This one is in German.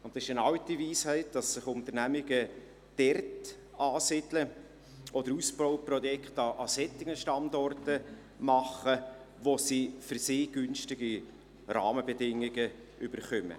und es ist eine alte Weisheit, dass sich Unternehmungen dort ansiedeln, oder Ausbauprojekte an solchen Standorten machen, wo sie für sich günstige Rahmenbedingungen erhalten.